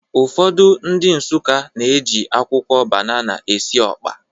Ụfọdụ ndị Nsụka na-eji akwụkwọ banana esi ọkpa